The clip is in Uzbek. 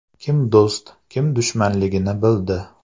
Kim do‘st, kim dushmanligini bildi”.